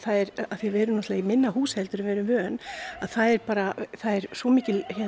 af því að við erum í minna húsi en við erum vön að það er svo mikil